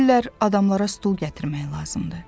Deyirlər adamlara stul gətirmək lazımdır.